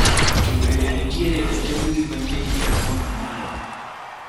To bende nitiere ote mbui manyien e a kaunt mara?